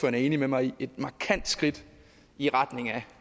er enig med mig i et markant skridt i retning af